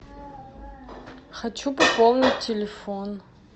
хочу пополнить телефон